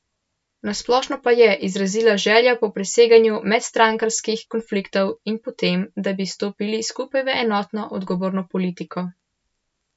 Na splošno pa je izrazila željo po preseganju medstrankarskih konfliktov in po tem, da bi stopili skupaj v enotno, odgovorno politiko.